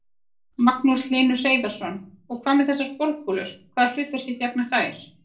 Magnús Hlynur Hreiðarsson: Og hvað með þessar golfkúlur, hvaða hlutverki gegna þær?